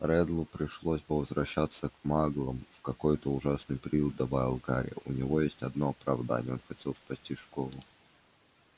реддлу пришлось бы возвращаться к маглам в какой-то ужасный приют добавил гарри у него есть одно оправдание он хотел спасти школу